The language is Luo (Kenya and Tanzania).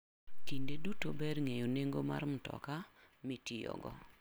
Kinde duto ber ng'eyo nengo mar mtoka mitiyogo.